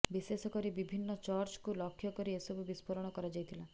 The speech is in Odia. ବିଶେଷ କରି ବିଭିନ୍ନ ଚର୍ଚ୍ଚକୁ ଲକ୍ଷ୍ୟ କରି ଏସବୁ ବିସ୍ଫୋରଣ କରାଯାଇଥିଲା